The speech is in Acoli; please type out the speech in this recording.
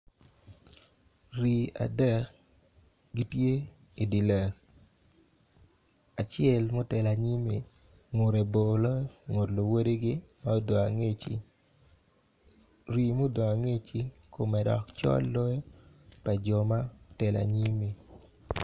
Rii adek gitye i di lel acel ma otelo anyimi ngute bor loyo luwodigi ma odong angecci rii mudong angec kome dok col loyo pa jo ma otelo anyimmi.